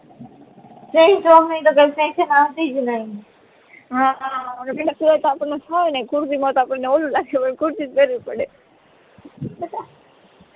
હા ગરમીમાં સુરત આપદને ફાવે ની કુર્તી માં તો આપળને ઓવું લાગે પણ કુર્તી જ પેરવી પડે